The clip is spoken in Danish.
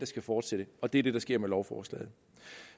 skal fortsætte og det er det der sker med lovforslaget